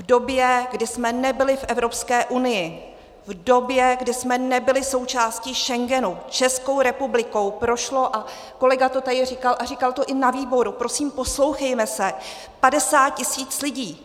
V době, kdy jsme nebyli v Evropské unii, v době, kdy jsme nebyli součástí Schengenu, Českou republikou prošlo, a kolega to tady říkal a říkal to i na výboru, prosím, poslouchejme se, 50 tisíc lidí.